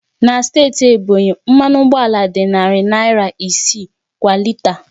Na steeti Ebonyi, mmanụ ụgbọala dị narị naira isii kwa lita